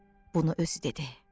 Bunu özü dedi.